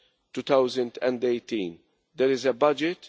2018 there is a budget